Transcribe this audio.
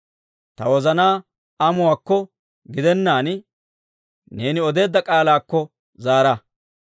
Ta wozanaa amuwaakko gidennaan, neeni odeedda k'aalaakko zaara.